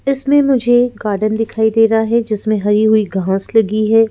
इसमें मुझे गार्डन दिखाई दे रहा है जिसमें हरी हुई घांस लगी है।